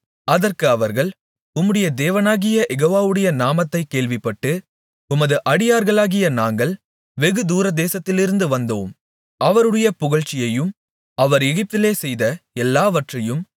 அதற்கு அவர்கள் உம்முடைய தேவனாகிய யெகோவாவுடைய நாமத்தைக் கேள்விப்பட்டு உமது அடியார்களாகிய நாங்கள் வெகு தூரதேசத்திலிருந்து வந்தோம் அவருடைய புகழ்ச்சியையும் அவர் எகிப்திலே செய்த எல்லாவற்றையும்